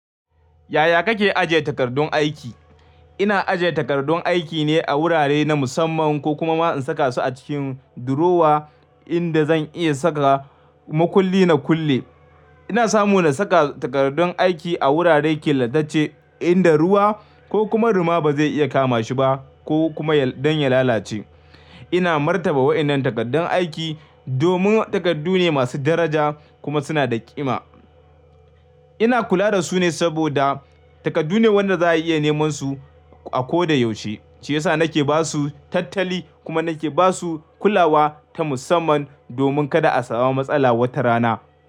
Yaya kake ajiye takardun aiki? Ina ajiye takardun aiki ne a wurare na musamman, ko kuma ma in saka su a cikin durowa inda zan iya saka makulli na kulle. Ina samu na saka takardun aiki a wuraren ƙe latacce, inda ruwa ko kuma ruma ba zai iya kama shi ba, ko kuma don ya lalace. Ina martaba wa'inan takardun aiki, domin takardu ne masu daraja, kuma suna da ƙima. Ina kula da su ne saboda, takardu ne waɗanda za'a iya neman su a ko da yaushe, shi yasa nake ba su tattali, kuma nake ba su kulawa ta musamman, domin kada a samu matsala wata rana.